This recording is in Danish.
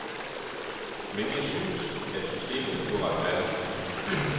Men jeg synes, at systemet er uretfærdigt.